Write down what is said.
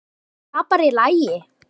Er það bara í lagi?